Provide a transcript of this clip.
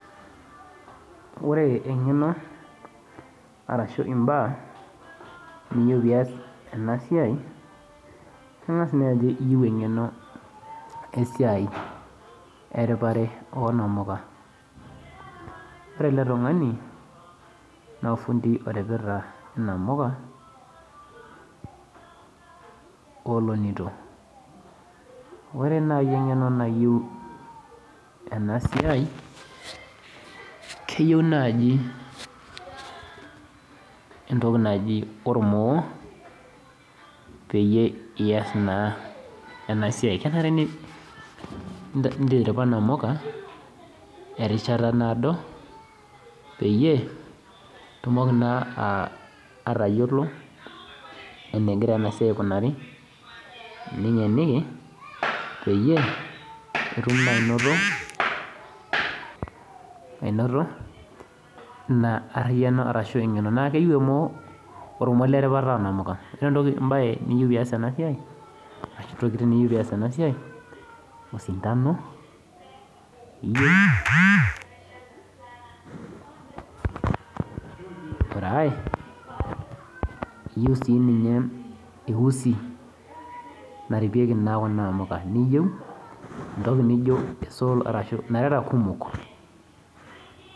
Ore engeno arashu imbaa niyeu pias enasia ingas naaku oueu engeno esiai eripaya onamuka nafindii oripita namuka olonito ore nai engeno nayieu enasia keyieu nai entoki naji ormoo peas inasiai iletiripa namuka erishata naado pitumoki na atayiolo ningeniki peyiebitum ainoto na ariano ashu engeno eripaya onamuka ore entoki niyieu pias enasia na osintano iyeu ore aai iyieu sinye eusi naripieki kuna amuka.